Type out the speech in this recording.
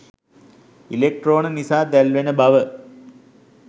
ඉලෙක්ට්‍රෝන නිසා දැල්වෙන බව